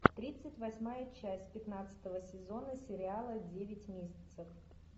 тридцать восьмая часть пятнадцатого сезона сериала девять месяцев